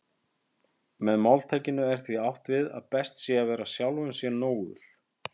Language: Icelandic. Með máltækinu er því átt við að best sé að vera sjálfum sér nógur.